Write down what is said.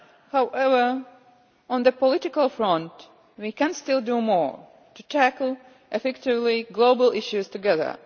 However, on the political front, we can still do more to tackle effectively global issues together.